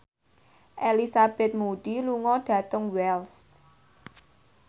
Elizabeth Moody lunga dhateng Wells